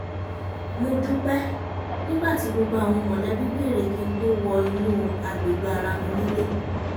mo dúpẹ́ nígbà tí gbogbo àwọn mọ̀lẹ́bí bèrè kí n tó wọ inú agbègbè ara mi nílé